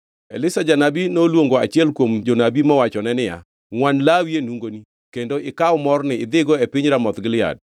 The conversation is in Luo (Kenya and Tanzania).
Elisha janabi noluongo achiel kuom jonabi mowachone niya, “Ngʼwan lawi e nungoni, kendo ikaw morni idhigo e piny Ramoth Gilead.